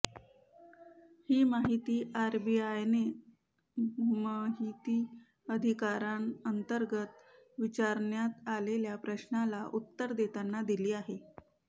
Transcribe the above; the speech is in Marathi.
ही माहिती आरबीआयने महिती अधिकाराअंतर्गत विचारण्यात आलेल्या प्रश्नाला उत्तर देताना दिली आहे